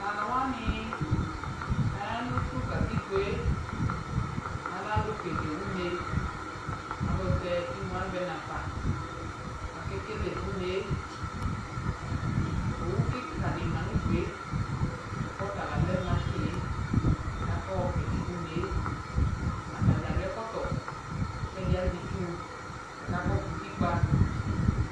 Talu wani aya nu tu katɩkpoe, alɛ alu kele une Ayɛtɛ ɩmu avɛ nafa kakele une Owu kikaɗi ma nudue kɔta la lɛ machie kakɔ kele une Atadza aɖu ɛkɔtɔ kɛɗi azɛ ɩtsukakɔ su utikpa